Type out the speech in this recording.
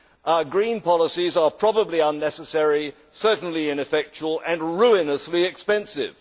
Our green policies are probably unnecessary, certainly ineffectual and ruinously expensive.